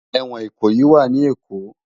Éwòn Ikoyi wà ni Ékó